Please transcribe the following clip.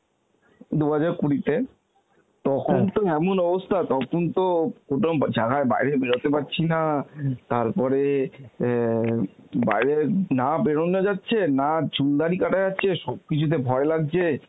দু হাজার কুড়িতে তখন তো এমন অবস্থা তখন তো প্রথম যারা বাইরে বেরোতে পারছি না তারপরে অ্যাঁ বাইরে না বেরনো যাচ্ছে, না চুল দাড়ি কাটা যাচ্ছে, সবকিছুতে ভয় লাগছে